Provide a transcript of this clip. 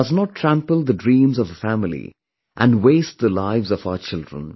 It does not trample the dreams of a family and waste the lives of our children